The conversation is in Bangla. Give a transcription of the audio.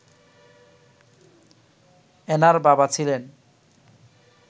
অ্যানার বাবা ছিলেন